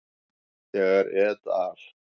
Þegar et al.